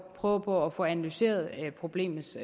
prøve på at få analyseret problemets